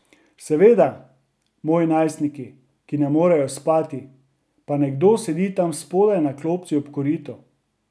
Seveda, moji najstniki, ki ne morejo spati, pa nekdo sedi tam spodaj na klopci ob koritu.